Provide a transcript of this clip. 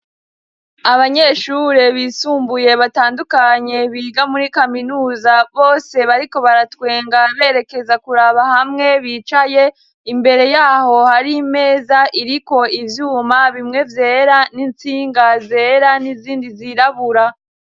Abanyeshure bisumbuye batandukanye biga muri kaminuza, bose bariko baratwenga berekeza kuraba hamwe bicaye, imbere y'aho hari imeza iriko ivyuma bimwe vyera n'intsinga zera n'izindi zirabura.